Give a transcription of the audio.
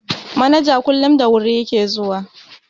Manaja kullum da wuri ya ke zuwa.